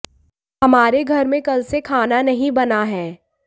हमारे घर में कल से खाना नहीं बना है